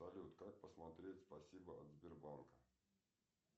салют как посмотреть спасибо от сбербанка